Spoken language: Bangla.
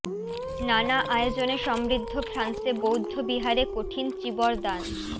নানা আয়োজনে সমৃদ্ধ ফ্রান্সে বৌদ্ধ বিহারে কঠিন চীবর দান